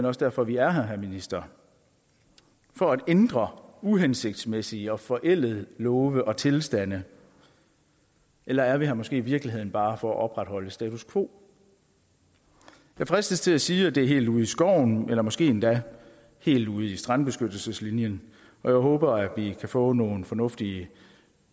også derfor vi er her herre minister for at ændre uhensigtsmæssige og forældede love og tilstande eller er vi her måske i virkeligheden bare for at opretholde status quo jeg fristes til at sige at det er helt ude i skoven eller måske endda helt ude i strandbeskyttelseslinjen og jeg håber at vi kan få nogle fornuftige